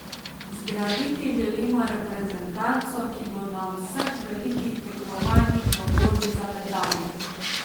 Zgraditi želimo reprezentanco, ki bo na vseh velikih tekmovanjih v borbi za medalje.